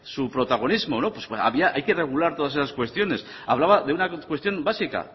su protagonismo no pues había hay que regular todas esas cuestiones hablaba de una cuestión básica